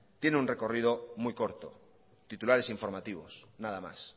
tiene un recorrido muy corto titulares informativos nada más